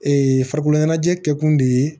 Ee farikolo ɲɛnajɛ kɛkun de ye